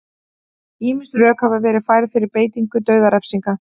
ýmis rök hafa verið færð fyrir beitingu dauðarefsinga